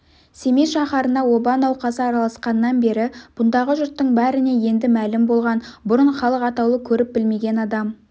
семей шаһарына оба науқасы араласқаннан бері бұндағы жұрттың бәріне енді мәлім болған бұрын халық атаулы көріп-білмеген адам